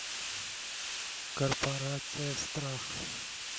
корпорация страха